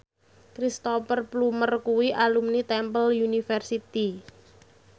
Cristhoper Plumer kuwi alumni Temple University